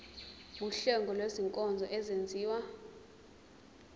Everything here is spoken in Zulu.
wuhlengo lwezinkonzo ezenziwa